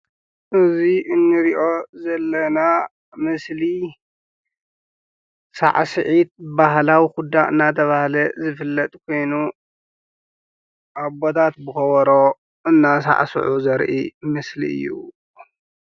እዚ እንርእዮ ዘለና ምስሊ ሳዕስዒት ባህላዊ ኩዳ እንዳተባሃለ ዝፍለጥ ኮይኑ ኣቦታት ብከበሮ አንዳሳዕስዑ ዘርኢ ምስሊ እዩ።